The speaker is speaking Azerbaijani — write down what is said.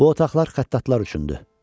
Bu otaqlar xəttatlar üçündü.